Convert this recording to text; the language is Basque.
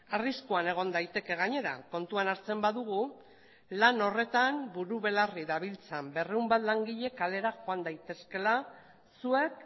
arriskuan egon daiteke gainera kontuan hartzen badugu lan horretan buru belarri dabiltzan berrehun bat langile kalera joan daitezkeela zuek